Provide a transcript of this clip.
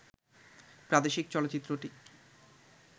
প্রাদেশিক চলচ্চিত্রকে